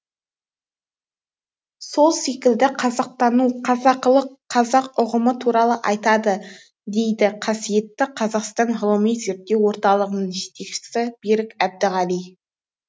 сол секілді қазақтану қазақылық қазақ ұғымы туралы айтады дейді қасиетті қазақстан ғылыми зерттеу орталығының жетекшісі берік әбдіғали